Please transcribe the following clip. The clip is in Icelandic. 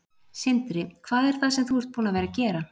Sindri: Hvað er það sem þú ert búin að vera að gera?